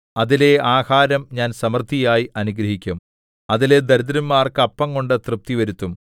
അതിലെ ആഹാരം ഞാൻ സമൃദ്ധിയായി അനുഗ്രഹിക്കും അതിലെ ദരിദ്രന്മാർക്ക് അപ്പംകൊണ്ട് തൃപ്തി വരുത്തും